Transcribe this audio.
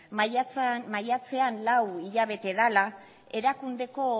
maiatzean lau hilabete dela